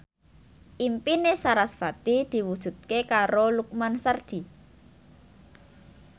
impine sarasvati diwujudke karo Lukman Sardi